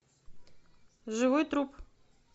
живой труп